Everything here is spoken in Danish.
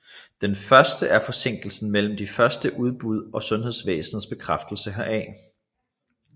Den første er forsinkelsen mellem det første udbrud og sundhedsvæsenets bekræftelsen heraf